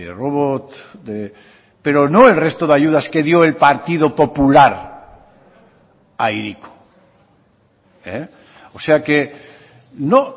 robot pero no el resto de ayudas que dio el partido popular a hiriko o sea que no